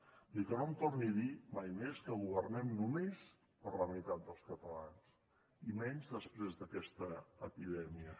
vull dir que no em torni a dir mai més que governem només per a la meitat dels catalans i menys després d’aquesta epidèmia